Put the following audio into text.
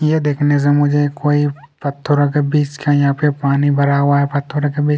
यह देखने से मुझे कोई पत्थरों के बीच का यहाँ पे कोई पानी भरा हुआ है पत्थरों के बीच--